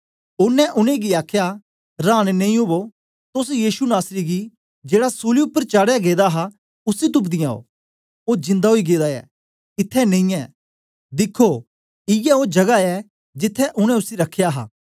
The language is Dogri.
ओनें उनेंगी आखया रांन नेई ओवो तोस यीशु नासरी गी जेड़ा सूली उपर चढ़ाया गेदा हा उसी तुपदीयां ओ ओ जिन्दा ओई गेदा ऐ इत्थैं नेई ऐ दिखो इयै ओ जगह ऐ जिथें उनै उसी रखया हा